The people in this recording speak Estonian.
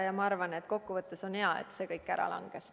Ja ma arvan, et kokkuvõttes on hea, et see kõik ära langes.